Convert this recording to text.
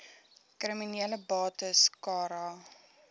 kriminele bates cara